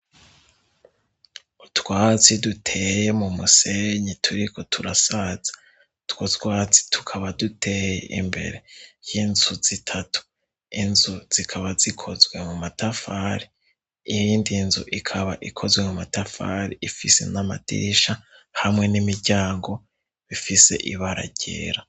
Utwasi duteye mu musenyi turiko turasaza twozwazi tukaba duteye imbere ry'inzu zitatu inzu zikaba zikozwe mu matafari iyiindi nzu ikaba ikozwe mu matafari ifise n'amadirisha hamwe n'imiryago bifise ibara ryera.